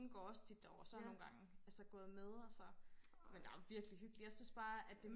hun går også tit derover og så nogengange er jeg jo så gået med og så men der er virkelig hyggeligt jeg synes bare at det